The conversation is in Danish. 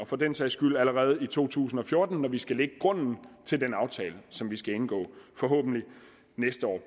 for den sags skyld allerede i to tusind og fjorten når vi skal lægge grunden til den aftale som vi forhåbentlig skal indgå næste år